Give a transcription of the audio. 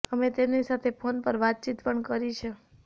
અમે તેમની સાથે ફોન પર વાતચીત પણ કરી છે